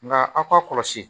Nka aw k'a kɔlɔsi